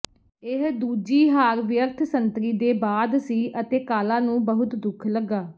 ਇਹ ਦੂਜੀ ਹਾਰ ਵਿਅਰਥ ਸੰਤਰੀ ਦੇ ਬਾਅਦ ਸੀ ਅਤੇ ਕਾਲਾ ਨੂੰ ਬਹੁਤ ਦੁੱਖ ਲੱਗਾ